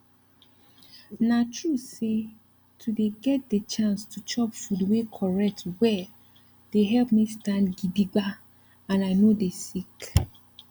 na true say to dey get de chance to chop food wey correct well dey help me stand gidigba and i nor dey sick